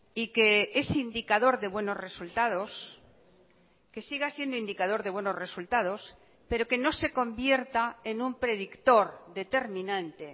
y que es indicador de buenos resultados que siga siendo indicador de buenos resultados pero que no se convierta en un predictor determinante